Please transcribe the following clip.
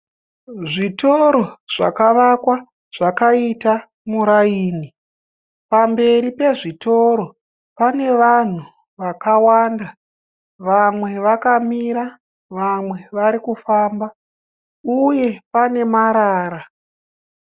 Zvitoro zvakavakakwa zvakaita muraini. Pamberi pezvitoro pane vanhu vakawanda. Vamwe vakamira vamwe vari kufamba uye pane marara.